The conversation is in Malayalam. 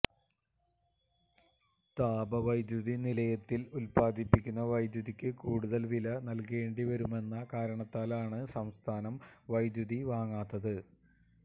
താപവൈദ്യുതി നിലയത്തില് ഉത്പാദിപ്പിക്കുന്ന വൈദ്യുതിക്ക് കൂടുതല് വില നല്കേണ്ടി വരുമെന്ന കാരണത്താലാണ് സംസ്ഥാനം വൈദ്യുതി വാങ്ങാത്തത്